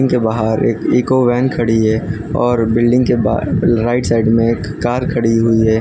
के बाहर एक इको वैन खड़ी है और बिल्डिंग के बाहर राइट साइड में एक कार खड़ी हुई है।